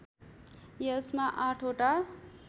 यसमा आठवटा